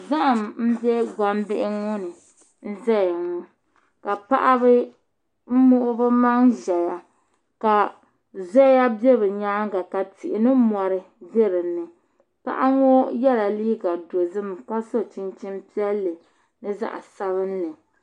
Zaham n bɛ gbambihi ŋɔ ni n ʒɛya ŋɔ ka paɣaba muɣi bi maŋ ʒɛya ka zoya bɛ bi nyaanga ka tihi ni mori bɛ dinni paɣa ŋɔ yɛla liiga dozim ka so chinchin piɛlli ni zaɣ sabinli